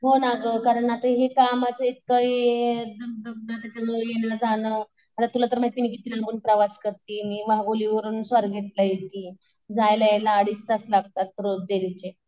हो ना गं आता कामाचं हे येणं जाणं आता तुला तर माहिती ये मी प्रवास करते वाघोली वरून स्वारगेटला येते. जायला यायला अडीच तास लागतात रोज डेलीचे.